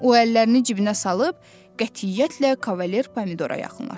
O əllərini cibinə salıb qətiyyətlə Kavalier Pomidora yaxınlaşdı.